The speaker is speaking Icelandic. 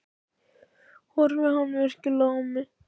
Horfði hann virkilega á mig?